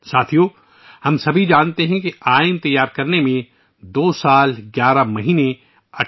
ساتھیو ، ہم سب جانتے ہیں کہ آئین کو وجود میں آنے میں 2 سال 11 مہینے اور 18 دن لگے